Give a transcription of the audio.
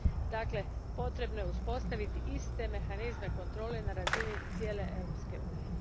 Dakle, potrebno je uspostaviti iste mehanizme kontrole na razini cijele Europske unije.